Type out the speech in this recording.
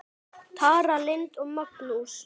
Tara Lynd og Magnús.